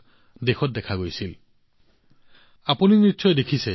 আপোনালোকে নিশ্চয় দেখিছে যে মানুহে আগবাঢ়ি আহি যক্ষ্মা ৰোগীসকলক দত্তক লৈছে